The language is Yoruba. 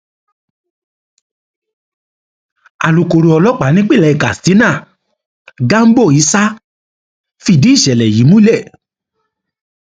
alukóró ọlọpàá nípínlẹ katsina gambo isah fìdí ìṣẹlẹ yìí múlẹ